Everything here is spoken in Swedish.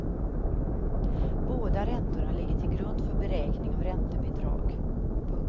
Båda räntorna ligger till grund för beräkning av räntebidrag. punkt